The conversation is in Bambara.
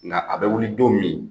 Nka a bɛ wili don min?